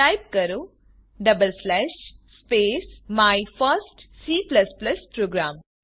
type કરો double slash space my first C programme